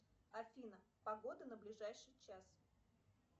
афина погода на ближайший час